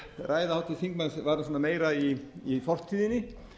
ræða háttvirts þingmanns var meira í fortíðinni